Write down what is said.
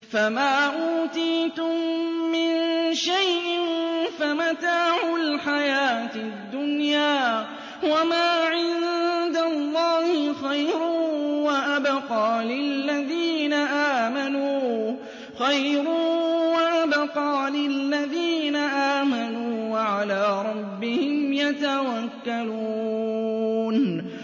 فَمَا أُوتِيتُم مِّن شَيْءٍ فَمَتَاعُ الْحَيَاةِ الدُّنْيَا ۖ وَمَا عِندَ اللَّهِ خَيْرٌ وَأَبْقَىٰ لِلَّذِينَ آمَنُوا وَعَلَىٰ رَبِّهِمْ يَتَوَكَّلُونَ